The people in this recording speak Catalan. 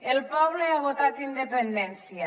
el poble ha votat independència